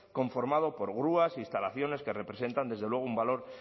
conformado por grúas instalaciones que representan desde luego un valor